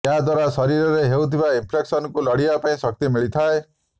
ଏହା ଦ୍ୱାରା ଶରୀରରେ ହେଉଥିବା ଇନ୍ଫେକ୍ସନ୍କୁ ଲଢ଼ିବା ପାଇଁ ଶକ୍ତି ମିଳିଥାଏ